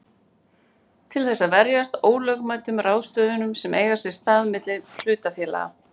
til þess að verjast ólögmætum ráðstöfunum sem eiga sér stað milli hlutafélaga.